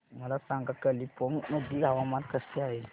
मला सांगा कालिंपोंग मध्ये हवामान कसे आहे